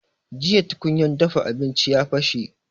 Jiya tukunya dafa abinci ya bashe